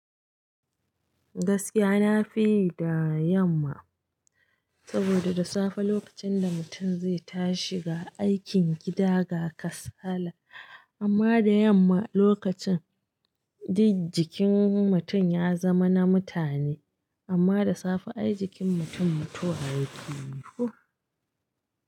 Gaskiya nafi yi da yamma, saboda da safe lokacin da mutum zai tashi ga aikin gida ga kasala, amma da yamma lokacin, dik jikin mutum ya zama na mutane, amma da safe ai jikin mutum mutuwa yake yi ko.